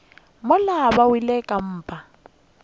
mola ba wele ka mpa